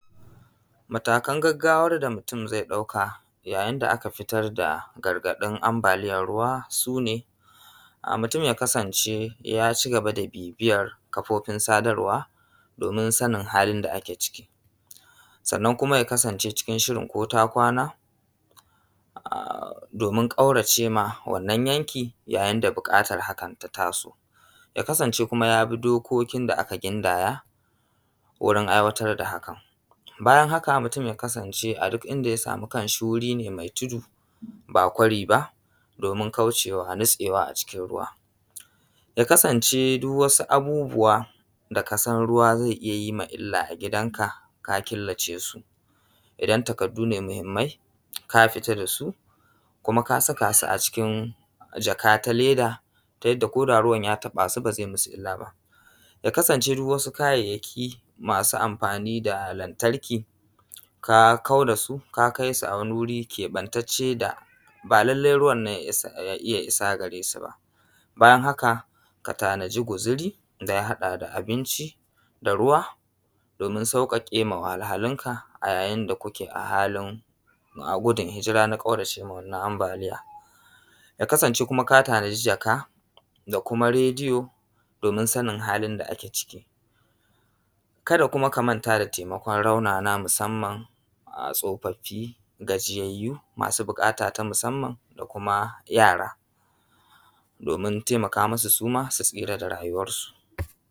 Matakan gagawar da mutun zai ɗauka yayin da aka fitar da gargaɗin ambaliyan ruwa sune, mutun ya kasance ya ci gaba da bibiya kafofin sadarwa domin sanin halin da ake ciki, sannan kuma ya kasance cikin shirin ko ta kwana domin ƙaurace ma wannan yanki yayin da buƙatan hakan ta taso. Ya kasance kuma ya bi dokokin da aka gindaya wurin aiwatar da hakan. Bayan haka mutun ya kasance a duk inda ya samu kashi wuri ne mai tudu ba kwari ba, domin kaucewa nitsewa a cikin ruwa. Ya kasance duk wasu abubuwa da kasan ruwa zai iya yi ma illa a gidan ka ka killace su. Idan takaddune muhimmai ka fitar da su, kuma ka saka su a cikin jaka ta leda, ta yadda ko da ruwan ya taɓa su ba zai masu illa ba. Ya kasance duk wasu kayayyaki masu amfani da lantarki ka kauda su ka kai su a wani wuri keɓan tacce da ba lallai ruwan nan ya iya isa gare su ba. Bayan haka ka tanadi guzuri da haɗa da abinci, da ruwa domin sauƙaƙe wa wahalhalun ka a yayin da kuke a hali gudun hijira na ƙaurace ma wannan ambaliyan. Ya kasance kuma ka tanadi jaka da radiyo domin sanin halin da ake ciki. Kada kuma ka manta da taimakon raunanan musanman tsofaffi, gajiyayyu, masu buƙata ta musanman da kuma yara domin taimaka masu suma su tsira da rayuwansu.